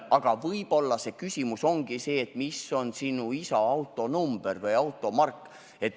Aga võib-olla just see küsimus esitataksegi, et mis on sinu isa autonumber või automark.